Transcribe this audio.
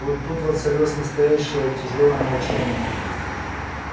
вот тут воцарилось настоящее тяжёлое молчание